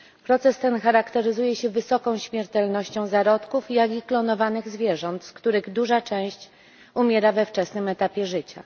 Proces ten charakteryzuje się wysoką śmiertelnością zarówno zarodków, jak i klonowanych zwierząt, z których duża część umiera we wczesnym etapie życia.